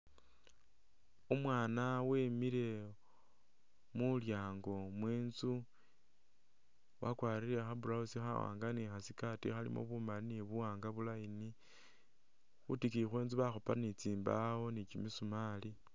Umwaana wemile mu lyaango mwe inzu wakwarire kha blouse khawaanga ni kha skirt khalimo bumali ni buwaanga bu line, khwitikiyi khwe inzu bakhupa ni tsimbawo ni kimisumali.